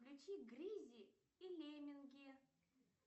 включи гризли и лемминги